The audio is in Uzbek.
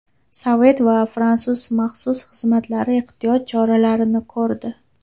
Sovet va fransuz maxsus xizmatlari ehtiyot choralarini ko‘rdi.